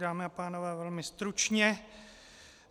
Dámy a pánové, velmi stručně.